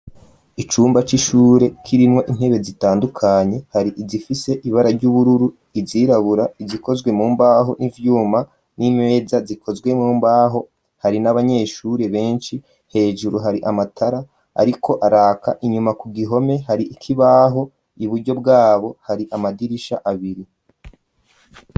Icumba c'ishure, kirimwo intebe, zitandukanye, hari izifise, ibara ry'ubururu, izirabura, izikozwe mu mbaho, n'ivyuma; n'imeza, zikozwe mu mbaho; hari n'abanyeshure, benshi; hejuru, hari amatara ariko araka; inyuma ku gihome, hari ikibaho; iburyo bw'abo, hari amadirisha abiri.